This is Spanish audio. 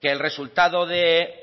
que el resultado de